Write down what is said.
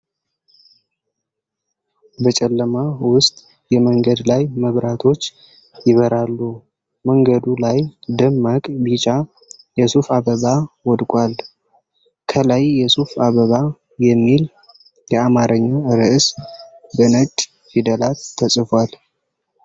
በጨለማ ውስጥ፣ የመንገድ ላይ መብራቶች ይበራሉ። መንገዱ ላይ ደማቅ ቢጫ የሱፍ አበባ ወድቋል። ከላይ "የሱፍ አበባ" የሚል የአማርኛ ርዕስ በነጭ ፊደላት ተጽፏል።